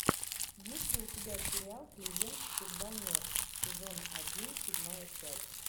есть ли у тебя сериал клиент всегда мертв сезон один седьмая часть